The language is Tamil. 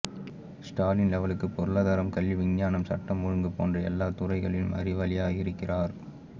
ஸ்டாலின் லெவலுக்கு பொருளாதாரம் கல்வி விஞ்ஞானம் சட்டம் ஒழுங்கு போன்ற எல்லா துறைகளிலும் அறிவாளியா இருக்கார்